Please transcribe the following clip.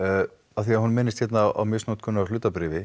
af því að hún minnist hérna á misnotkun á hlutabréfi